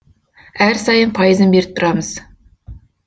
әр сайын пайызын беріп тұрамыз